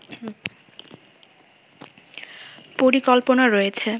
পরিকল্পনা রয়েছে